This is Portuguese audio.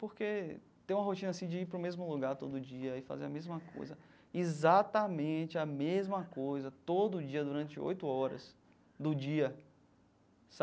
Porque ter uma rotina assim de ir para o mesmo lugar todo dia e fazer a mesma coisa, exatamente a mesma coisa, todo dia, durante oito horas do dia,